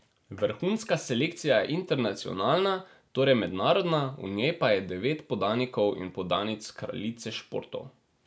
Vrhunska selekcija je internacionalna, torej mednarodna, v njej pa je devet podanikov in podanic kraljice športov.